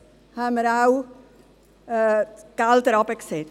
Bei der Spitex haben wir die Mittel auch herabgesetzt.